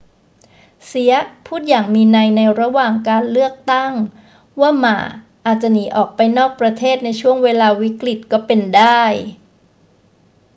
เซียะพูดอย่างมีนัยในระหว่างการเลือกตั้งว่าหม่าอาจจะหนีออกไปนอกประเทศในช่วงเวลาวิกฤตก็เป็นได้